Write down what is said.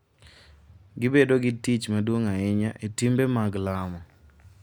Gibedo gi tich maduong’ ahinya e timbe mag lamo,